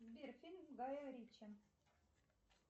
сбер фильм гая ричи